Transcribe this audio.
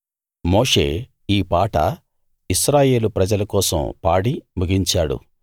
మోషే ఈ పాట ఇశ్రాయేలు ప్రజల కోసం పాడి ముగించాడు